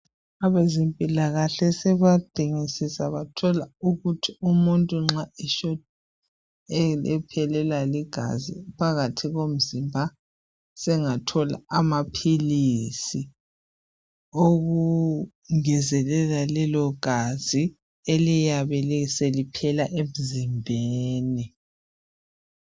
Abezempilakahle sebadingidisa bathola ukuthi umuntu nxa ephelwa ligazi phakathi komzimba sengathola amaphilisi okungezelela lelo gazi eliyabe seliphela emzimbeni.